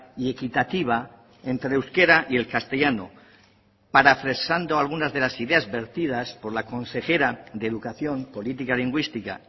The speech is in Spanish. y equitativa entre el euskera y el castellano parafraseando algunas de las ideas vertidas por la consejera de educación política lingüística